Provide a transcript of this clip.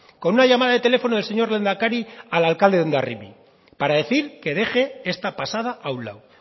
con una llamada de teléfono del señor lehendakari al alcalde de hondarribia para decir que deje esta pasada a un lado